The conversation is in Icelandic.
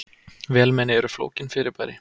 Vélmenni eru flókin fyrirbæri.